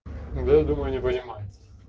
да думаю не понимать